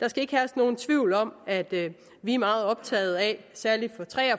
der skal ikke herske nogen tvivl om at vi er meget optaget af særligt fra tre af